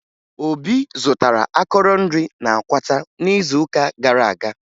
Obi zụtara akọrọ nri na Akwata n'izuụka gara aga